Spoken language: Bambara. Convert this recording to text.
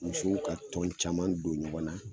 Musow ka tɔn caman don ɲɔgɔn na